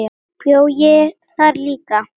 Bjó ég þar líka?